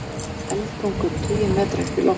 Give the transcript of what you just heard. Eldtungur tugi metra upp í loft